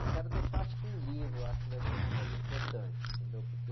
Eu quero deixar, acho que um livro, acho que vai ser uma coisa importante, entendeu? Porque...